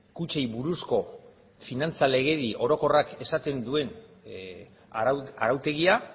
kutxei buruzko finantza legedi orokorrak esaten duen arautegia